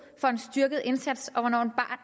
for en styrket indsats og hvornår